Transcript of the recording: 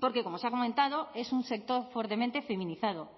porque como se ha comentado es un sector fuertemente feminizado